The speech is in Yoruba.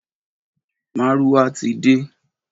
Márúwá ti de.